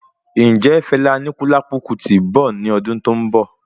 Ǹjẹ Fela Anikulapo Kuti nbọ ní ọdún tó n bọ?